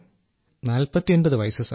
Rajesh Prajapati sir 49 വയസ്സ്